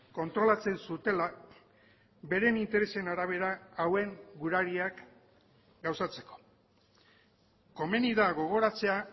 kontrolatzen zutela beren interesen arabera hauen gurariak gauzatzeko komeni da gogoratzea